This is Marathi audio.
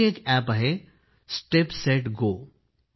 आणखी एक अॅप आहे स्टेप सेट गो